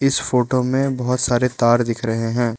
इस फोटो में बहोत सारे तार दिख रहे हैं।